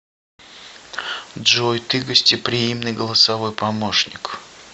джой ты гостеприимный голосовой помощник